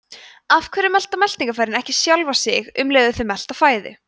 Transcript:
af hverju melta meltingarfærin ekki sjálf sig um leið og þau melta fæðu